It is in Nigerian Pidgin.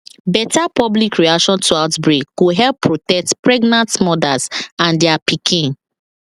better public reaction to outbreak go help protect pregnant mothers and their pikin